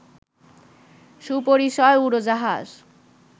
সুপরিসর উড়োজাহাজ